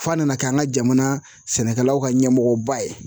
F'a nana kɛ an ka jamana sɛnɛkɛlaw ka ɲɛmɔgɔba ye